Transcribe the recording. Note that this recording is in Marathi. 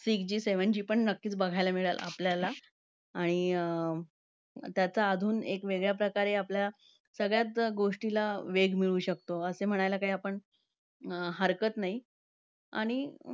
Six G seven G पण नक्कीच बघायला मिळेल आपल्याला आणि त्याचा अजून एक वेगळ्याप्रकारे आपल्या सगळ्याचं गोष्टीला वेग मिळू शकतो, असे म्हणायला आपण काही हरकत नाही. आणि